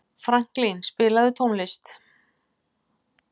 Franklín, spilaðu tónlist.